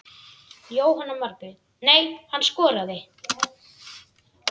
Jóhanna Margrét: Nei, hann skoraði?